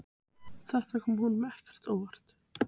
Þetta kom honum ekkert á óvart.